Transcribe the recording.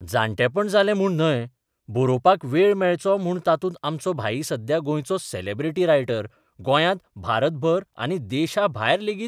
जाण्टेपण जालें म्हूण न्हय, बरोवपाक वेळ मेळचो म्हूण तातूंत आमचो भाई सध्या गोंयचो सॅलॅब्रिटी रायटर, गोंयांत, भारतभर आनी देशाभायर लेगीत